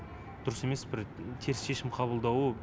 дұрыс емес бір теріс шешім қабылдауы